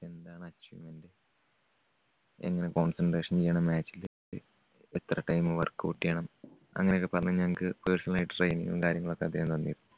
എന്താണ് achievement എങ്ങനെ concentration ചെയ്യണം match ല് എ~എത്ര time workout ചെയ്യണം അങ്ങനെയൊക്കെ പറഞ്ഞ് ഞങ്ങക്ക് personal ആയിട്ട് training ഉം കാര്യങ്ങളുമൊക്കെ അദ്ദേഹം തന്നിരുന്നു.